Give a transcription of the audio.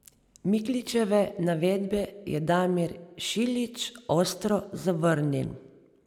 Mikličeve navedbe je Damir Šiljič ostro zavrnil.